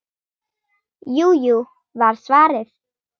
Jú, jú var svarið.